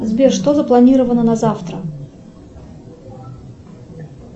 сбер что запланированно на завтра